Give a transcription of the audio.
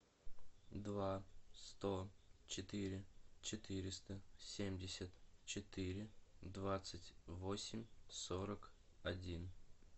два сто четыре четыреста семьдесят четыре двадцать восемь сорок один